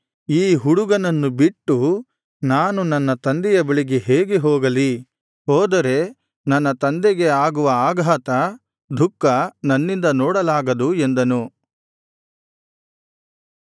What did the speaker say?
ಈ ಹುಡುಗನನ್ನು ಬಿಟ್ಟು ನಾನು ನನ್ನ ತಂದೆಯ ಬಳಿಗೆ ಹೇಗೆ ಹೋಗಲಿ ಹೋದರೆ ನನ್ನ ತಂದೆಗೆ ಆಗುವ ಆಘಾತ ದುಃಖ ನನ್ನಿಂದ ನೋಡಲಾಗದು ಎಂದನು